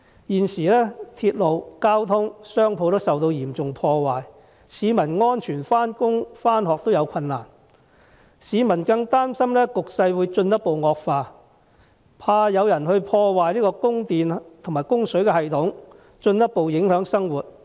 現時鐵路、道路、商鋪均受到嚴重破壞，市民要安全地上班、上學也有困難，市民更擔心局勢會進一步惡化，害怕有人會破壞供電和供水系統，進一步影響生活。